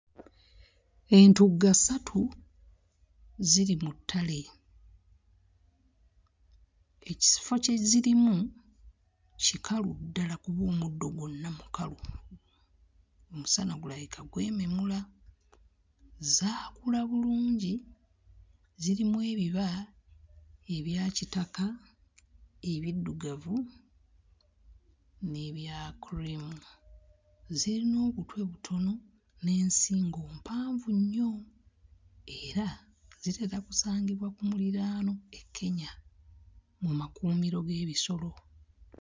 Entugga ssatu ziri mu ttale. Ekifo kye zirimu kikalu ddala kuba omuddo gwonna mukalu, omusana gulabika gwememula. Zaakula bulungi, zirimu ebiba ebya kitaka, ebiddugavu n'ebya kkuliimu. Zirina obutwe butono n'ensingo mpanvu nnyo era zitera kusangibwa ku muliraano e Kenya mu makuumiro g'ebisolo.